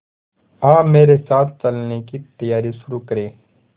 आप मेरे साथ चलने की तैयारी शुरू करें